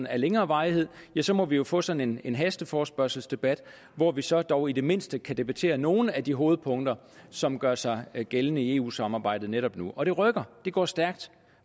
af længere varighed ja så må vi jo få sådan en hasteforespørgselsdebat hvor vi så dog i det mindste kan debattere nogle af de hovedpunkter som gør sig gældende i eu samarbejdet netop nu og det rykker det går stærkt